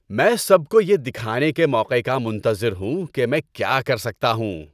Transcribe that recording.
میں سب کو یہ دکھانے کے موقع کا منتظر ہوں کہ میں کیا کر سکتا ہوں۔